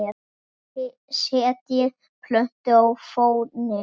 Setjið plötu á fóninn.